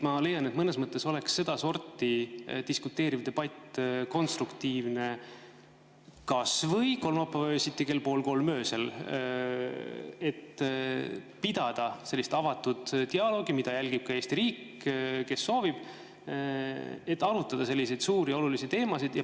Ma leian, et mõnes mõttes oleks sedasorti diskuteeriv debatt konstruktiivne kas või kolmapäeva öösel kell pool kolm, et pidada sellist avatud dialoogi, mida saab jälgida Eesti riigis, kes seda soovib, kui arutatakse selliseid suuri olulisi teemasid.